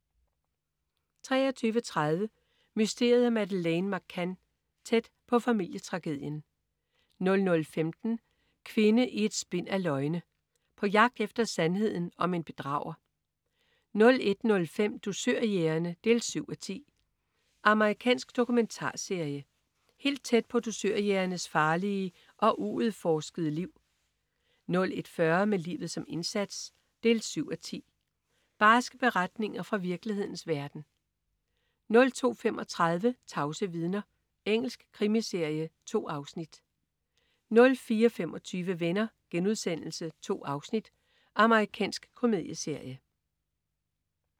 23.30 Mysteriet om Madeleine McCann. Tæt på familietragedien 00.15 Kvinde i et spind af løgne. På jagt efter sandheden om en bedrager 01.05 Dusørjægerne 7:10. Amerikansk dokumentarserie. Helt tæt på dusørjægernes farlige og uudforskede liv 01.40 Med livet som indsats 7:10. Barske beretninger fra virkelighedens verden 02.35 Tavse vidner. Engelsk krimiserie. 2 afsnit 04.25 Venner.* 2 afsnit. Amerikansk komedieserie